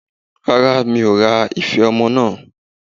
Rárá, mi ò ra ife ọmọ náà.